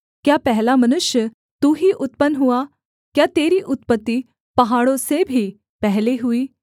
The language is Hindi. क्या पहला मनुष्य तू ही उत्पन्न हुआ क्या तेरी उत्पत्ति पहाड़ों से भी पहले हुई